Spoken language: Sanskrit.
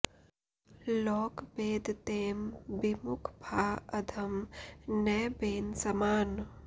लोक बेद तें बिमुख भा अधम न बेन समान